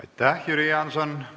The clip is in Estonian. Aitäh, Jüri Jaanson!